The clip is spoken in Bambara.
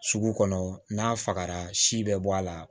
Sugu kɔnɔ n'a fagara si bɛ bɔ a la